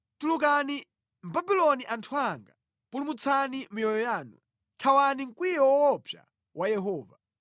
“Tulukani mʼBabuloni anthu anga! Pulumutsani miyoyo yanu! Thawani mkwiyo woopsa wa Yehova.